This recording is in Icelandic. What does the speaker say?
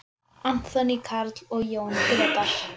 Anthony Karl og Jón Gretar.